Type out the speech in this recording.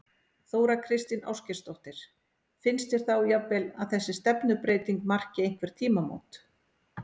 Þóra Kristín Ásgeirsdóttir: Finnst þér þá jafnvel að þessi stefnubreyting marki einhver tímamót?